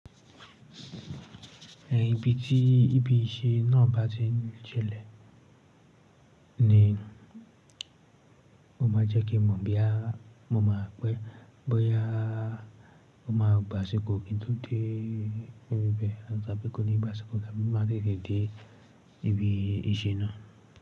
Ẹn ibi tí ibi iṣẹ́ náà bá ti ṣẹlẹ̀ ni ó máa jẹ́ kí mo bí há, mo máa pẹ́ bóyá ó máa gba ṣókò kí n tó dé ibẹ̀, àṣá bí kò ní ba ṣókò, lábẹ́ máa rí dé ibi iṣẹ́ náà.